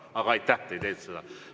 Aga aitäh, te ei teinud seda.